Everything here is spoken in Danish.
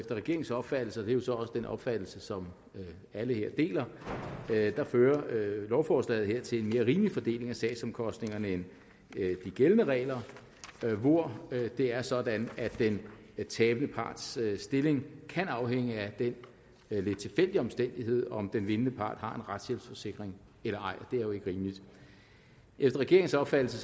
regeringens opfattelse og jo så også den opfattelse som alle her deler fører lovforslaget her til en mere rimelig fordeling af sagsomkostningerne end de gældende regler hvor det er sådan at den tabende parts stilling kan afhænge af den lidt tilfældige omstændighed om den vindende part har en retshjælpsforsikring eller ej og det er jo ikke rimeligt efter regeringens opfattelse